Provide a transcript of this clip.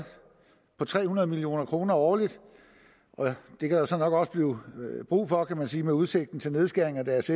for tre hundrede million kroner årligt det kan der så nok også blive brug for kan man sige med udsigten til nedskæringer i deres